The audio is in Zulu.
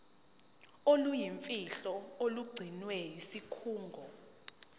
oluyimfihlo olugcinwe yisikhungo